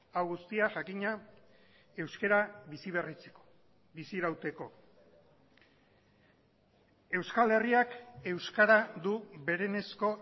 hau guztia jakina euskara bizi berritzeko bizirauteko euskal herriak euskara du berenezko